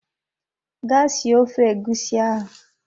Gaa sie ofe egusi ahụ!